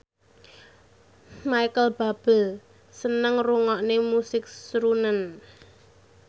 Micheal Bubble seneng ngrungokne musik srunen